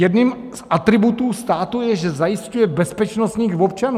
Jedním z atributů státu je, že zajišťuje bezpečnost svých občanů.